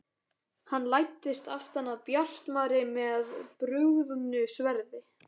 Hann læddist aftan að Bjartmari með brugðnu sverði.